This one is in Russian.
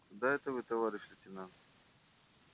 куда это вы товарищ лейтенант